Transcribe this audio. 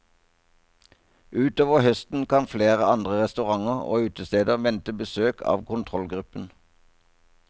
Utover høsten kan flere andre restauranter og utesteder vente besøk av kontrollgruppen.